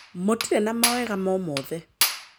Mũtirĩ na mawega momothe